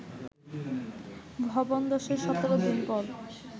ভবন ধসের ১৭দিন পর